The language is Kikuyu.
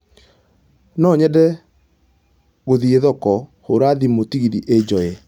No nyende gũthiĩthoko hura thimũ tegithi ĩnjoye